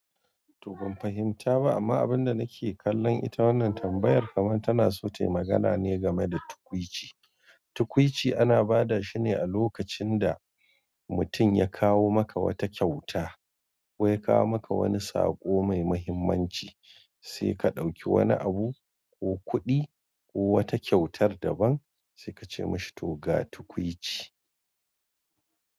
To ban fahimta ba amma abinda nake kallon ita wannan tambayar kamar tana so tayi magana ne game da tukwuici. Tukwici ana bada shine a lokacin da mutum ya kawo maka wata kyauta ko ya kawo maka wani saƙo mai muhimmanci sai ka ɗauki wani abu ko kudi ko wata kyautar daban sai mashi to ga tukwici.